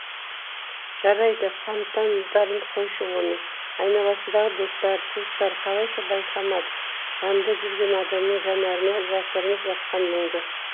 жарайды фонтардарын қойшы оның айналасындағы достары туыстары қалайша байқамады жанында жүрген адамның жанары жасырынып жатқан мұңды